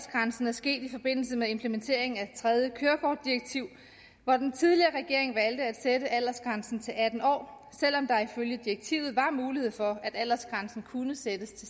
sket i forbindelse med implementeringen af det tredje kørekortdirektiv hvor den tidligere regering valgte at sætte aldersgrænsen til atten år selv om der ifølge direktivet var mulighed for at aldersgrænsen kunne sættes